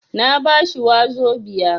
Na ba shi wazobia.